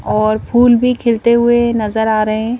और फूल भी खिलते हुए नजर आ रहे हैं.